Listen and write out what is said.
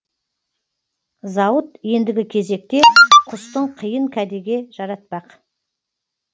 зауыт ендігі кезекте құстың қиын кәдеге жаратпақ